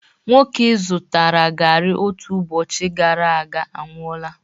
Nwoke i zụtara garri otu ụbọchị gara aga anwụọla